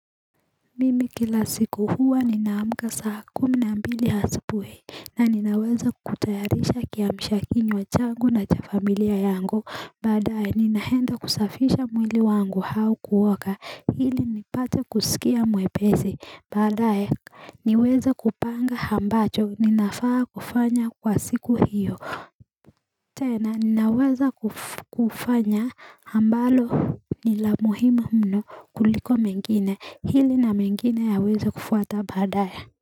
Mimi kila siku huwa ninaamka saa kumi na mbili hasupui na ninaweza kutayarisha kiamisha kinywa changu na cha familia yangu baadaye ninaenda kusafisha mwili wangu hau kuoka ili nipate kusikia mwepezi baadaye niweza kupanga hambacho ninafaa kufanya kwa siku hiyo tena ninaweza kufanya ambalo ni la muhimu mno kuliko mengine hili na mengine yawezae kufuata baadaye.